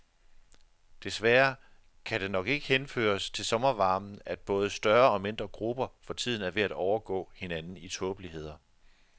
Desværre kan det nok ikke henføres til sommervarmen, at både større og mindre grupper for tiden er ved at overgå hinanden i tåbeligheder.